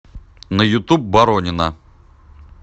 на ютуб боронина